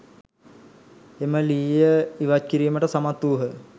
එම ලීය ඉවත් කිරීමට සමත් වූහ.